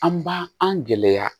An b'a an gɛlɛya